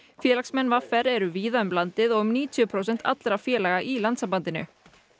félagsmenn v r eru víða um landið og um níutíu prósent allra félaga í landssambandinu